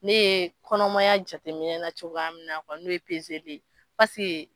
Ne ye kɔnɔmaya jateminɛ na cogo mina n'o ye de ye pase.